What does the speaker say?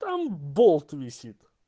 там болт висит